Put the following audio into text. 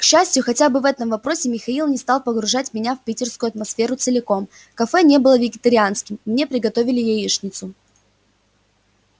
к счастью хотя бы в этом вопросе михаил не стал погружать меня в питерскую атмосферу целиком кафе не было вегетарианским мне приготовили яичницу